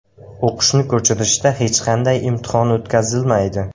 O‘qishni ko‘chirishda hech qanday imtihon o‘tkazilmaydi.